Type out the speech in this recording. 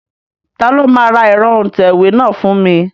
Ta ló máa ra ẹ̀rọ òǹtẹ̀wé náà fún mi?